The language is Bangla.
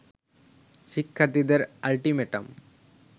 শিক্ষার্থীদের আল্টিমেটাম